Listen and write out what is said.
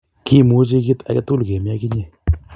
kimuchi kit akatugul kemi ak inye